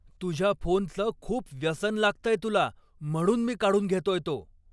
तुझ्या फोनचं खूप व्यसन लागतंय तुला, म्हणून मी काढून घेतोय तो.